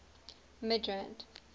midrand